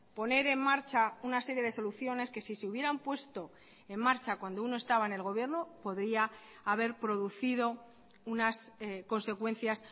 poner en marcha una serie de soluciones que si se hubieran puesto en marcha cuando uno estaba en el gobierno podría haber producido unas consecuencias